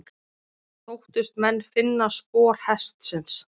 Þóttust menn finna spor hestsins.